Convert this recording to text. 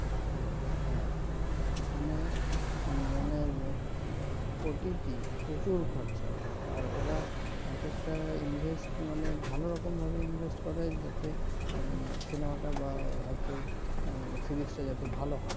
হ্যাঁ ওখানে মানে কোটি কি প্রচুর খরচা ওখানে আর ওরা এক একটা invest মানে ভাল রকম ভাবে invest করে যাতে সিনেমাটা বা হয়তো সিরিজটা যাতে ভালো হয়